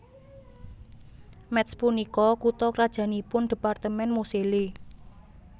Métz punika kutha krajannipun dhépartemèn Moselle